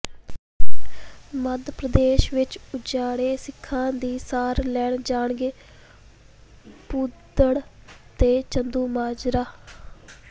ਮੱਧ ਪ੍ਰਦੇਸ਼ ਵਿਚ ਉਜਾੜੇ ਸਿੱਖਾਂ ਦੀ ਸਾਰ ਲੈਣ ਜਾਣਗੇ ਭੂੰਦੜ ਤੇ ਚੰਦੂਮਾਜਰਾ